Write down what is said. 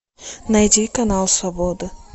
найди канал свобода